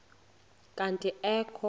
kanti ee kho